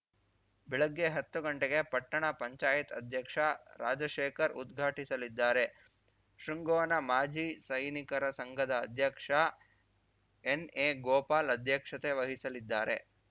ಬೆಳಗ್ಗೆ ಹತ್ತು ಗಂಟೆಗೆ ಪಟ್ಟಣ ಪಂಚಾಯತ್ ಅಧ್ಯಕ್ಷ ರಾಜಶೇಖರ್‌ ಉದ್ಘಾಟಿಸಲಿದ್ದಾರೆ ಶೃಂಗೋನ ಮಾಜಿ ಸೈನಿಕರ ಸಂಘದ ಅಧ್ಯಕ್ಷ ಎನ್‌ಎ ಗೋಪಾಲ್‌ ಅಧ್ಯಕ್ಷತೆ ವಹಿಸಲಿದ್ದಾರೆ